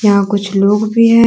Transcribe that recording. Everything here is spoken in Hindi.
यहां कुछ लोग भी हैं।